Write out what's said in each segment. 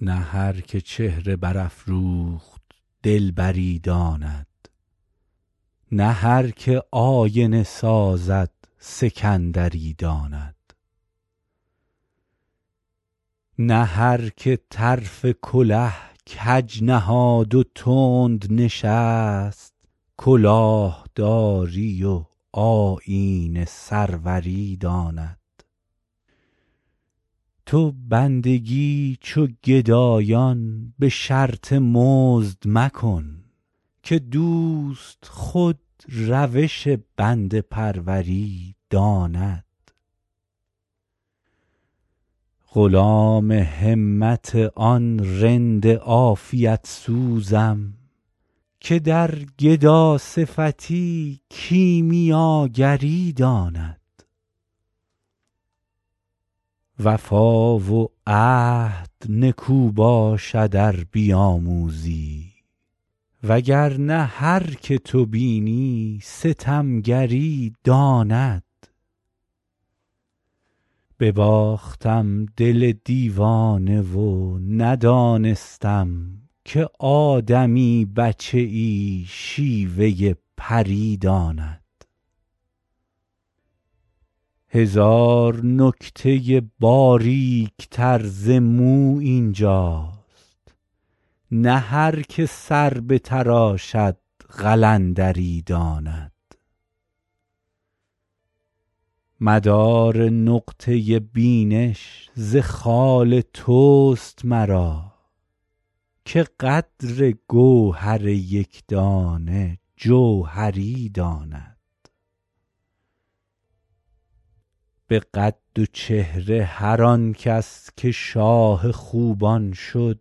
نه هر که چهره برافروخت دلبری داند نه هر که آینه سازد سکندری داند نه هر که طرف کله کج نهاد و تند نشست کلاه داری و آیین سروری داند تو بندگی چو گدایان به شرط مزد مکن که دوست خود روش بنده پروری داند غلام همت آن رند عافیت سوزم که در گداصفتی کیمیاگری داند وفا و عهد نکو باشد ار بیاموزی وگر نه هر که تو بینی ستمگری داند بباختم دل دیوانه و ندانستم که آدمی بچه ای شیوه پری داند هزار نکته باریک تر ز مو این جاست نه هر که سر بتراشد قلندری داند مدار نقطه بینش ز خال توست مرا که قدر گوهر یک دانه جوهری داند به قد و چهره هر آن کس که شاه خوبان شد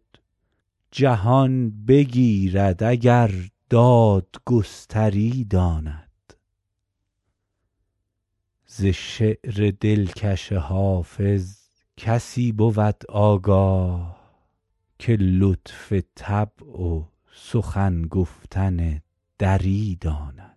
جهان بگیرد اگر دادگستری داند ز شعر دلکش حافظ کسی بود آگاه که لطف طبع و سخن گفتن دری داند